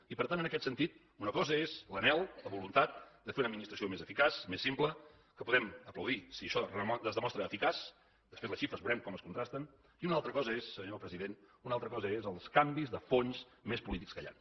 i per tant en aquest sentit una cosa és l’anhel la voluntat de fer una administració més eficaç més simple que podem aplaudir si això es demostra eficaç després les xifres veurem com es contrasten i una altra cosa són senyor president els canvis de fons més polítics que hi han